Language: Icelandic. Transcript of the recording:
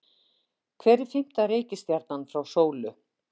Hver er fimmta reikistjarnan frá sólu?